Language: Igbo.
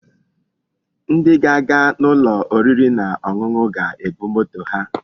Ndi ga-aga n'ulo oriri na onunu ga-ebu moto ha.